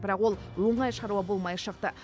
бірақ ол оңай шаруа болмай шықты